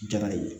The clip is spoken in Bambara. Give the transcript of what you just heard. Jara ye